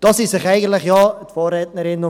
Darin sind sich eigentlich ja alle einig.